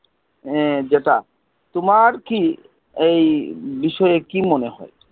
এ যেটা, তোমার কী এই বিষয়ে কী মনেহয়?